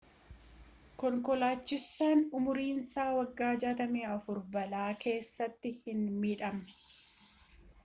konkolaachisaan umriin isaa waggaa 64 balaa keessatti hin miidhamne